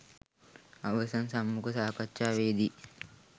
අවසන් සම්මුඛ සාකච්ඡාවේදී